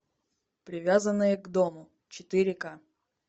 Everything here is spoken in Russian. привязанные к дому четыре ка